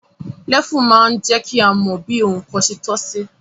Lẹ́fù máa ń jẹ́ kí a mọ bí ohun kan se tọ́ sí